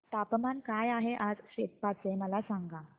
तापमान काय आहे आज सेप्पा चे मला सांगा